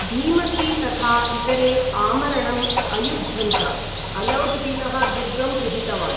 भीमसी तथा इतरे आमरणम् अयुध्यन्त, अलौद् दीनः दुर्गं गृहीतवान्।